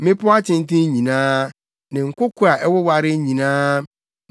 mmepɔw atenten nyinaa ne nkoko a ɛwowaree nyinaa,